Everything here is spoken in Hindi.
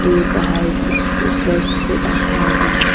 पेड़ पहाड़ के ऊपर सफेद आसमान भी है।